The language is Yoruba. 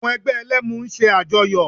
Àwọn ẹgbẹ́ Ẹlẹ́mu ń ṣe àjọyọ̀